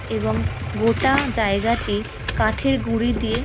এবং গোটা জায়গাতে কাঠের গুড়ি দিয়ে --